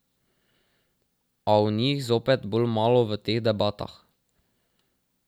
A o njih zopet bolj malo v teh debatah.